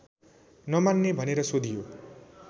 नमान्ने भनेर सोधियो